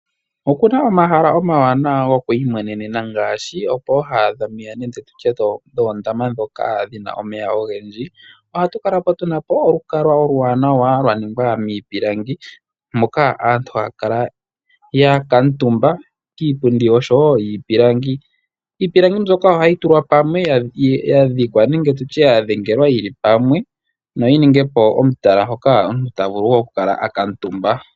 Okuna omahala omawanawa gokwiimwenenena ngaashi pooha dhomeya nenge tutye dhoondama dhoka dhina omeya ogendji. Ohatu kala tu na po olukalwa oluwanawa lwaningwa miipilangi moka aantu haya kala ya kuutumba kiipundi osho woo kiipilangi. Iipilangi mbyoka oha yi tulwa pamwe, yadhikwa nenge tutye ya dhengelwa yili pamwe noyi ninge po omutala hoka omuntu ta vulu woo oku kala akuutumba.